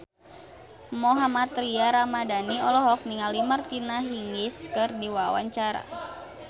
Mohammad Tria Ramadhani olohok ningali Martina Hingis keur diwawancara